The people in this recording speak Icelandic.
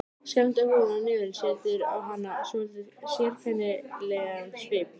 Skemmda húðin á nefinu setur á hana svolítið sérkennilegan svip.